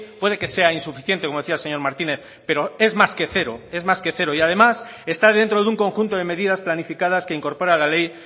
puede que sea insuficiente como decía el señor martínez pero es más que cero y además está dentro de un conjunto de medidas planificadas que incorpora la ley